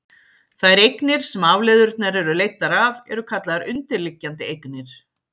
þær eignir sem afleiðurnar eru leiddar af eru kallaðar undirliggjandi eignir